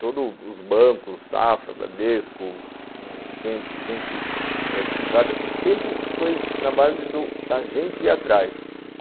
Todos os bancos, Safra, Bradesco, gente gente privada, e sempre foi na base do a gente ir atrás.